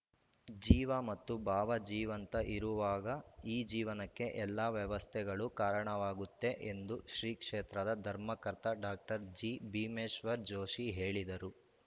ಜೀವ ಮತ್ತು ಭಾವ ಜೀವಂತ ಇರುವಾಗ ಈ ಜೀವನಕ್ಕೆ ಎಲ್ಲ ವ್ಯವಸ್ಥೆಗಳು ಕಾರಣವಾಗುತ್ತೆ ಎಂದು ಶ್ರೀ ಕ್ಷೇತ್ರದ ಧರ್ಮಕರ್ತ ಡಾಕ್ಟರ್ ಜಿಭೀಮೇಶ್ವರ ಜೋಷಿ ಹೇಳಿದರು